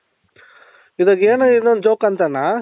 ಇವಾಗ ಏನು ಇನ್ನೊoದ್ joke ಅಂತಾಣ್ಣ